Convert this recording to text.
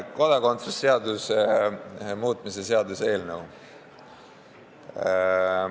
Kodakondsuse seaduse muutmise seaduse eelnõu.